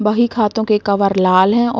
बही खातों के कवर लाल हैं औ --